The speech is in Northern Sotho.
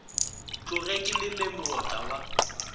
tloge ke leme moota wa